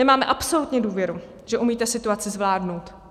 Nemáme absolutní důvěru, že umíte situaci zvládnout.